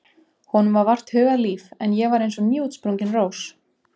Honum var vart hugað líf en ég var eins og nýútsprungin rós.